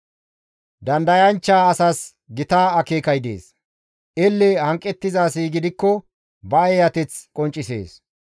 Dandayanchcha asas gita akeekay dees; elle hanqettiza asi gidikko ba eeyateth qonccisees.